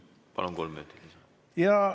Palun, kolm minutit!